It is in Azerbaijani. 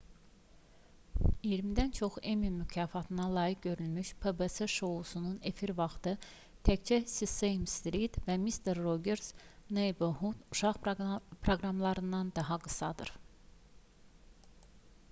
i̇yirmidən çox emmy mükafatına layiq görülmüş pbs şousunun efir vaxtı təkcə sesame street və mister rogers neighborhood uşaq proqramlarından daha qısadır